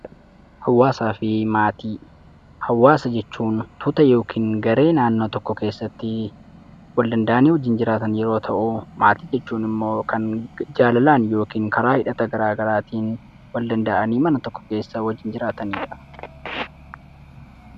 Hawaasaa fi maatii, hawaasa jechuun tuuta yookin garee naannoo tokko keessattii wal danda'anii wajjin jiraatan yeroo ta'uu maatii jechuun immoo kan jaalalaan yookin karaa hidhata garaa garaatiin wal danda'anii mana tokko keessa wajjin jiraataniidha.